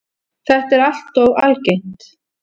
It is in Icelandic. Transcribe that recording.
Þetta er alltof algengt.